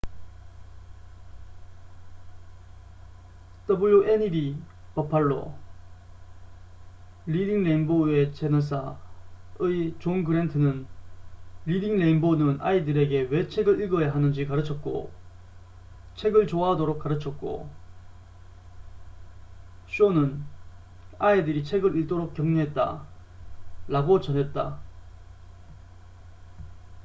"wned 버팔로리딩 레인보우의 채널사의 존 그랜트는 "리딩 레인보우는 아이들에게 왜 책을 읽어야 하는지 가르쳤고,... 책을 좋아하도록 가르쳤고 - [쇼는] 아이들이 책을 읽도록 격려했다""라고 전했다.